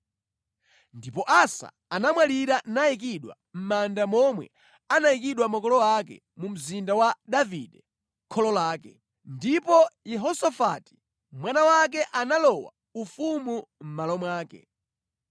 Ndipo Asa anamwalira nayikidwa mʼmanda momwe anayikidwa makolo ake mu mzinda wa Davide kholo lake. Ndipo Yehosafati mwana wake analowa ufumu mʼmalo mwake.